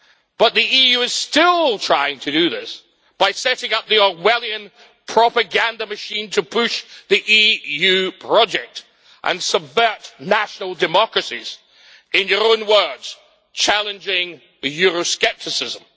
But the EU is still trying to do this by setting up the Orwellian propaganda machine to push the EU project and subvert national democracies, in your own words challenging Euroscepticism.